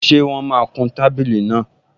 Ṣé wọ́n máa kun tábìlì náà?